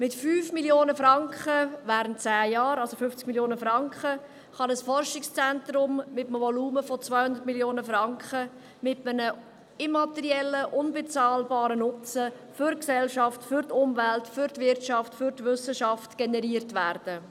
Mit 5 Mio. Franken jährlich während zehn Jahren, also 50 Mio. Franken, kann ein Forschungszentrum mit einem Volumen von 200 Mio. Franken und einem immateriellen, unbezahlbaren Nutzen direkt für Gesellschaft, Wissenschaft und Umwelt generiert werden.